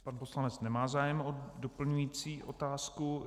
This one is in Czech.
Pan poslanec nemá zájem o doplňující otázku.